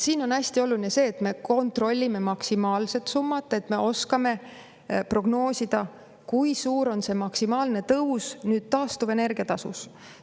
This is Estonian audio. Siin on hästi oluline see, et me kontrollime maksimaalset summat, et me oskame prognoosida, kui suur on maksimaalne tõus taastuvenergia tasus.